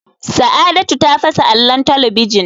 Saadatu ta fasa allon talabijin.